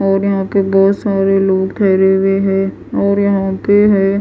और यहाँ पे बहुत सारे लोग ठहरे हुए हैं और यहाँ पे है--